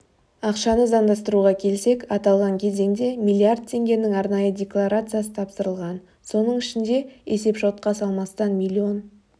ақшаны заңдастыруға келсек аталған кезеңде миллиард теңгенің арнайы декларациясы тапсырылған соның ішінде есепшотқа салмастан миллион